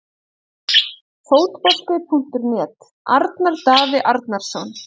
Fótbolti.net- Arnar Daði Arnarsson